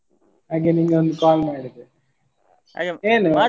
ಹಾಗೆ ನಿಂಗೊಂದು call ಮಾಡಿದ್ದು .